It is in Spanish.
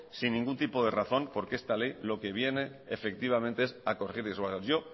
sin ningún tipo de razón porque esta ley lo que viene efectivamente es a corregir y a yo